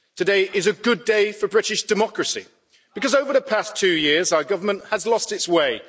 Today is a good day for British democracy because over the past two years our government has lost its way.